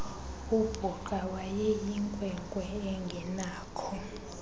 ubhuqa wayeseyinkwenkwe engenakho